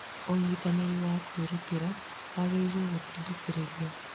Ũnyitanĩri wa kwĩrutĩra wagĩrĩirũo gũtindĩkĩrĩrio.